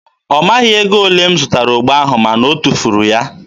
ọ maghị ego ole m zụtara ogbo ahụ ma na o tufuru ya.